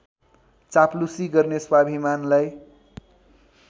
चाप्लुसी गर्ने स्वाभिमानलाई